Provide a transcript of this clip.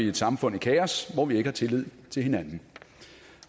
et samfund i kaos hvor vi ikke har tillid til hinanden